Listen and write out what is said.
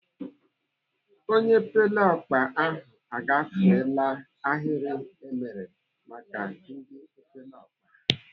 Onye epeleọkpa ahụ agafeela ahịrị emere maka ndị epeleọkpa.